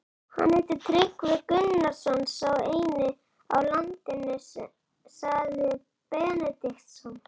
Hann heitir Tryggvi Gunnarsson, sá eini á landinu, sagði Benediktsson.